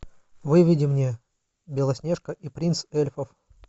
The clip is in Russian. выведи мне белоснежка и принц эльфов